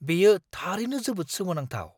बेयो थारैनो जोबोद सोमोनांथाव!